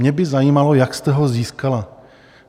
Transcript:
Mě by zajímalo, jak jste ho získala.